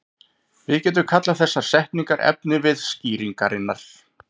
Við getum kallað þessar setningar efnivið skýringarinnar.